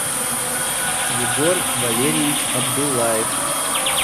егор валерьевич абдулаев